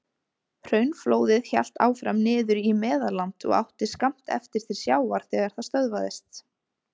Hraunflóðið hélt áfram niður í Meðalland og átti skammt eftir til sjávar þegar það stöðvaðist.